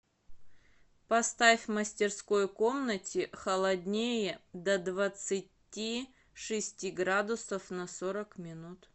поставь в мастерской комнате холоднее до двадцати шести градусов на сорок минут